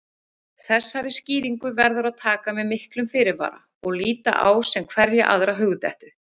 Þessari skýringu verður að taka með miklum fyrirvara og líta á sem hverja aðra hugdettu.